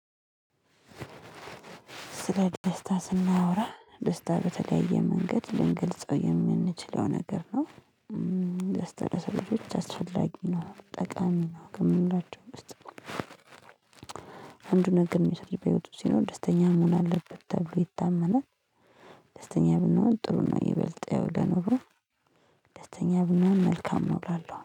ስለ ደስታ ስናወራ ደስታ በተለየ መንገድ ልንገልጸው የምንችለው ነገር ነው። ደስታ ለሰው ልጆች አስፈላጊ ነው ጠቃሚ ነው ከምንላቸው ውስጥ አንዱን ነገር ነው የሰው ልጅ በህይወቱ ሲኖር ደስተኛ መሆን አለበት ተብሎ ይታመናል። ደስተኛ ብንሆን ጥሩ ነው ይበልጥ ያው ለኑሮ ደስተኛ ብንሆን መልካም ነው። እላለሁ